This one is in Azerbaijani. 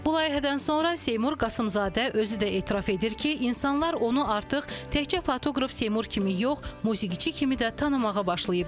Bu layihədən sonra Seymur Qasımzadə özü də etiraf edir ki, insanlar onu artıq təkcə fotoqraf Seymur kimi yox, musiqiçi kimi də tanımağa başlayıblar.